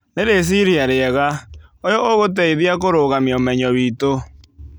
Nĩ rĩciria rĩega. ũyũ ũgũteithia kũrũgamia ũmenyo witũ.